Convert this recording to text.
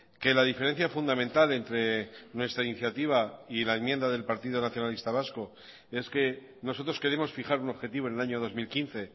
que la diferencia fundamental entre nuestra iniciativa y la enmienda del partido nacionalista vasco es que nosotros queremos fijar un objetivo en el año dos mil quince